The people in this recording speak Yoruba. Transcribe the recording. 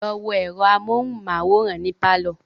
Lọ wo ẹ̀rọ amóhunmáwòrán ní pálọ̀